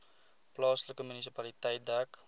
plaaslike munisipaliteit dek